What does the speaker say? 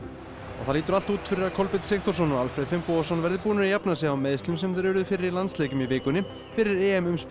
og það lítur allt út fyrir að Kolbeinn Sigþórsson og Alfreð Finnbogason verði búnir að jafna sig á meiðslum sem þeir urðu fyrir í landsleikjum í vikunni fyrir EM